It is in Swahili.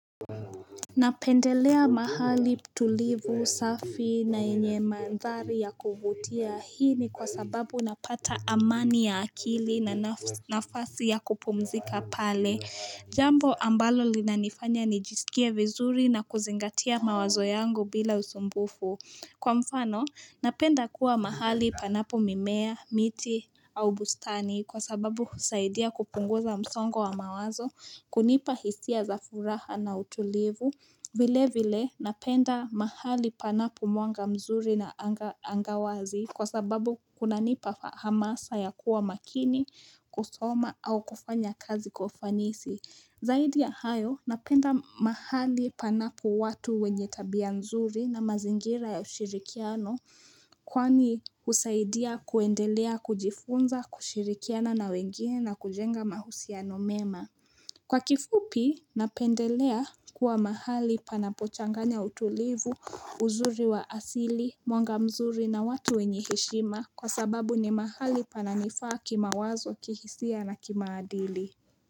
Napendelea mahali tulivu, safi na yenye mandhari ya kuvutia, hii ni kwa sababu napata amani ya akili, na nafasi ya kupumzika pale Jambo ambalo linanifanya nijisikie vizuri, na kuzingatia mawazo yangu bila usumbufu. Kwa mfano, napenda kuwa mahali panapo mimea, miti, au bustani kwa sababu husaidia kupunguza msongo wa mawazo, kunipa hisia za furaha na utulivu. Vile vile, napenda mahali panapo mwanga mzuri, na anga wazi kwa sababu kuna nipa hamasa ya kuwa makini, kusoma au kufanya kazi kwa ufanisi. Zaidi ya hayo, napenda mahali panapo watu wenye tabia nzuri, na mazingira ya ushirikiano kwani husaidia kuendelea kujifunza, kushirikiana na wengine, na kujenga mahusiano mema Kwa kifupi, napendelea kuwa mahali panapo changanya utulivu, uzuri wa asili, mwanga mzuri na watu wenye heshima kwa sababu ni mahali pana nifaa kimawazo, kihisia na kimaadili.